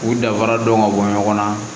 U danfara dɔn ka bɔ ɲɔgɔn na